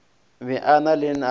be a na le lenao